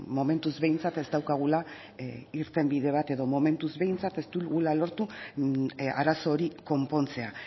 momentuz behintzat ez daukagula irtenbide bat edo momentuz behintzat ez dugula lortu arazo hori konpontzea